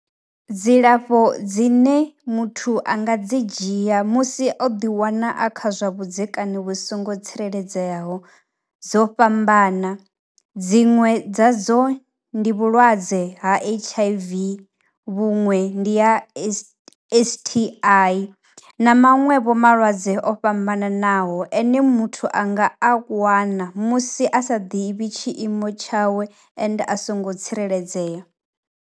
Dzilafho dzine muthu a nga dzi dzhia musi o ḓiwana a kha zwa vhudzekani vhu songo tsireledzeaho dzo fhambana, dziṅwe dza dzo ndi vhulwadze ha H_I_V. Vhuṅwe ndi ya S_T_I na maṅwevho malwadze o fhambananaho ane muthu a nga a wanga musi a sa ḓivhi tshiimo tshawe ende a songo tsireledzea.